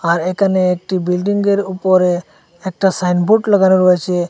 আর এখানে একটি বিল্ডিংয়ের উপরে একটা সাইনবোর্ড লাগানো রয়েছে।